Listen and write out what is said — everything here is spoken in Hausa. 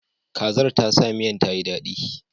Kazar ta sa miyan ta yi daɗi.